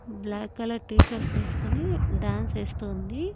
Black colour T shirt వేసుకొని dance ఎస్తుంది.